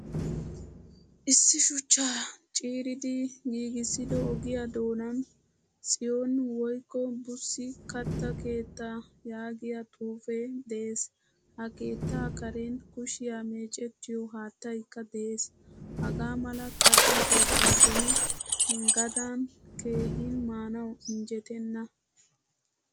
Issi shuchchaa ciiridi giigisido ogiya doonan tsiyoni woykko busi katta keettaa yaagiyaa xuufe de'ees. Ha keetta karen kushiyaa meecetiyo haattaaykka de'ees. Hagaa mala katta keettay beni gadan keehin maanawu injjettena.